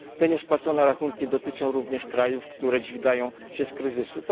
Te niespłacone rachunki dotyczą również krajów, które dźwigają się z kryzysu.